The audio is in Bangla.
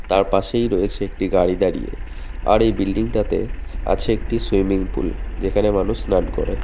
তার পাশেই রয়েছে একটি গাড়ি দাঁড়িয়ে আর এই বিল্ডিংটা তে আছে একটি সুইমিং পুল যেখানে মানুষ স্নান করে।